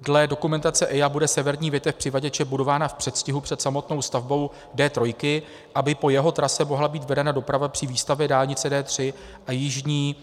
Dle dokumentace EIA bude severní větev přivaděče budována v předstihu před samotnou stavbou D3, aby po jeho trase mohla být vedena doprava při výstavbě dálnice D3 a jižní